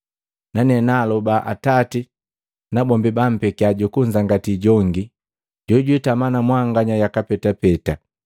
Nane naaloba Atati na bombi bampeki Jukunzangati jongi, jojwitama na mwanganya yaka petapeta.